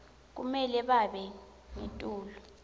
kumele babe ngetulu